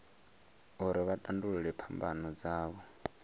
uri vha tandulule phambano dzavho